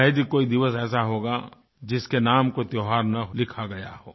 शायद ही कोई दिवस ऐसा होगा जिसके नाम कोई त्योहार न लिखा गया हो